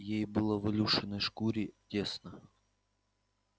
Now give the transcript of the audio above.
ей было в илюшиной шкуре тесно